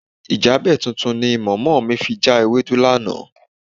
Ìjábẹ̀ tuntun ni mọ̀mọ́ mi fi já ewédú lánàá.